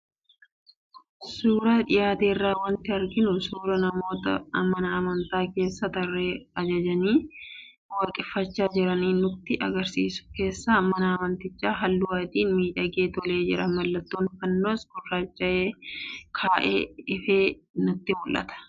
Suuraa dhiyaate irraa wanti arginu suuraa namoota mana amantaa keessa tarree ijaajjanii waaqeffachaa jiranii nutti argisiisu. Keessi mana amantichaas halluu adiin miidhagee tolee jira, mallattoon fannoos gurraacha'ee ka'ee ifee namatti argama.